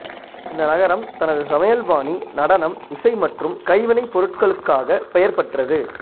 இந்த நகரம் தனது சமையல்பாணி நடனம் இசை மற்றும் கைவினைப் பொருட்களுக்காக பெயர்பெற்றது